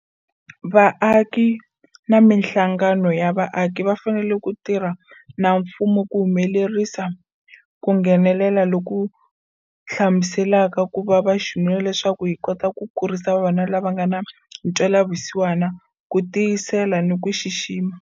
Vaaki na mihlangano ya vaaki va fanele ku tirha na mfumo ku humelerisa ku nghenelela loku hlamuselaka ku va vaxinuna leswaku hi kota ku kurisa vavanuna lava nga na ntwela vusiwana, ku tiyisela ni ku xixima.